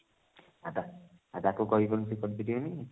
ଆଛା ତାକୁ କହିକି କଣ